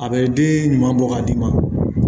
A bɛ den ɲuman bɔ k'a d'i ma